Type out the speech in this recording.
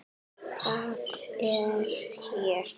Það er hér.